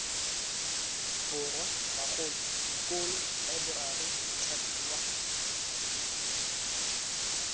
borwa bagolo dikolo laeborari mothapiwa